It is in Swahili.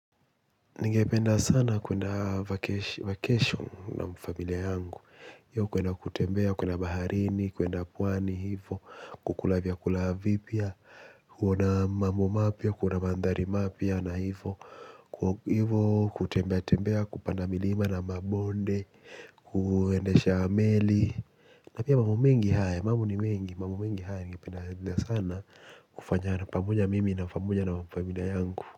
Ningependa sana kuenda vacation na familia yangu. Iyo kuenda kutembea, kuenda baharini, kuenda pwani hivo. Kukula vyakula vipya. Kuona mambo mapya, kuona mandhari mapya na hivo. Kutembea, tembea, kupanda milima na mabonde. Kuendesha meli. Na pia mambo mingi haya, mambo ni mengi. Mambo mingi haya ningependa sana kufanya na pamoja mimi na pamoja na familia yangu.